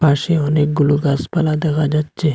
পাশে অনেকগুলো গাসপালা দেখা যাচ্ছে।